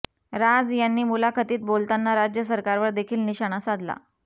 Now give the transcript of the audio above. राज यांनी मुलाखतीत बोलताना राज्य सरकारवर देखील निशाणा साधला